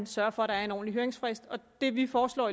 sørger for at der er en ordentlig høringsfrist det vi foreslår